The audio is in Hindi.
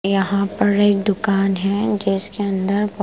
यहाँ पर एक दुकान है जिसके अंदर --